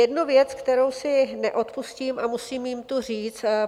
Jednu věc, kterou si neodpustím a musím ji tu říct.